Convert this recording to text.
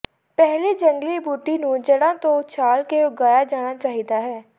ਪਹਿਲੀ ਜੰਗਲੀ ਬੂਟੀ ਨੂੰ ਜੜ੍ਹਾਂ ਤੋਂ ਉਛਾਲ ਕੇ ਉਗਾਇਆ ਜਾਣਾ ਚਾਹੀਦਾ ਹੈ